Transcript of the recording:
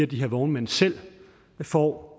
de her vognmænd selv får